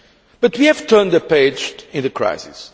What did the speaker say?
But we have turned a page in the crisis.